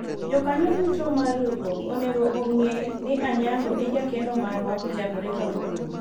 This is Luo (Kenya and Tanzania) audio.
Jokanyo duto mar riwruok onego ong'e ni Anyango e jakeno marwa kochakore kawuono